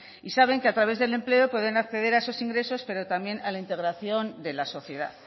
y saben que a través del empleo pueden acceder a esos ingresos pero también a la integración de la sociedad